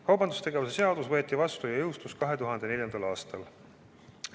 Kaubandustegevuse seadus võeti vastu ja jõustus 2004. aastal.